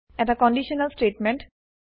এটা conditional statement